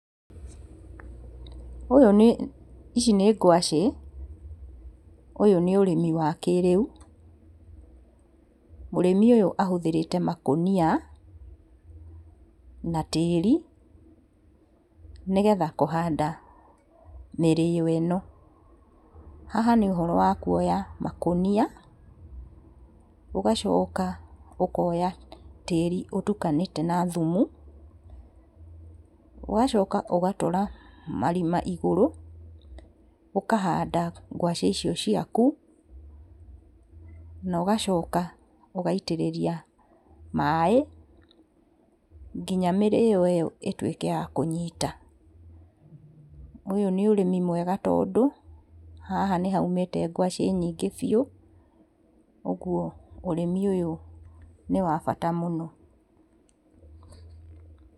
Ũyũ nĩ, ici nĩ ngwacĩ, ũyũ nĩ ũrĩmi wa kĩrĩu, mũrĩmi ũyũ ahũthĩrĩte makũnia, na tĩri, nĩgetha kũhanda mĩrĩo ĩno. Haha nĩ ũhoro wa kuoya makũnia, ũgacoka ũkoya tĩri ũtukanĩte na thumu, ũgacoka ũgatũra marima igũrũ, ũkahanda ngwaci icio ciaku, na ũgacoka ũgaitĩrĩria maĩ, nginya mĩrĩo ĩyo ĩtuĩke ya kũnyita. Ũyũ nĩ ũrĩmi mwega tondũ, haha nĩ haumĩte ngwacĩ nyingĩ biũ, oguo ũrĩmi ũyũ nĩwabata mũno.